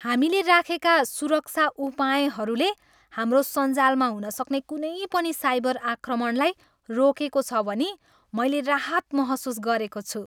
हामीले राखेका सुरक्षा उपायहरूले हाम्रो सञ्जालमा हुनसक्ने कुनै पनि साइबर आक्रमणलाई रोकेको छ भनी मैले राहत महसुस गरेको छु।